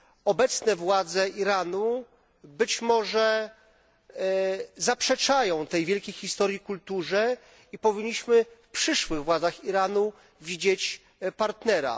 Obecne władze Iranu być może zaprzeczają tej wielkiej historii i kulturze. Powinniśmy w przyszłych władzach Iranu widzieć partnera.